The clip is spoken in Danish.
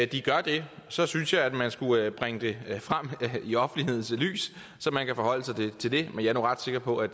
de gør det så synes jeg at man skulle bringe det frem i offentlighedens lys så man kan forholde sig til det men jeg er ret sikker på at